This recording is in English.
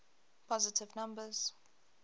positive numbers